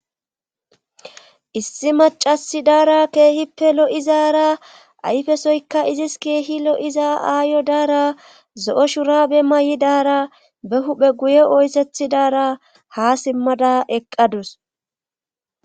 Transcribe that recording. Issi macasi daara keehippe lo7izaara ayfesoykka izis keehi lo7iza aayo daara zo7o shurabe may7i daara be huphe guye oyssethi daara ha simmada eqqadus.